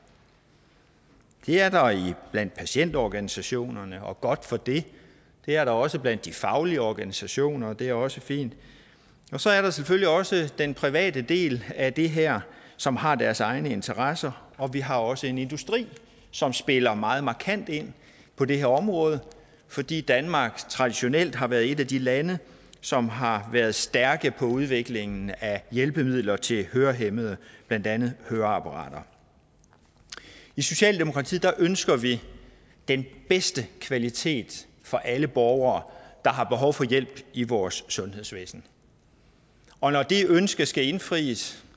det er der blandt patientorganisationer og godt for det det er der også blandt de faglige organisationer og det er også fint og så er der selvfølgelig også den private del af det her som har deres egne interesser og vi har også en industri som spiller meget markant ind på det her område fordi danmark traditionelt har været et af de lande som har været stærke for udviklingen af hjælpemidler til hørehæmmede blandt andet høreapparater i socialdemokratiet ønsker vi den bedste kvalitet for alle borgere der har behov for hjælp i vores sundhedsvæsen og når det ønske skal indfries